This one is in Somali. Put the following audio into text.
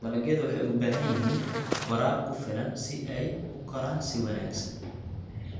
Dalagyadu waxay u baahan yihiin waraab ku filan si ay u koraan wanaagsan.